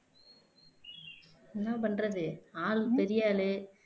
என்ன பண்றது ஆள் பெரிய ஆளு